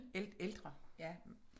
Ældre ja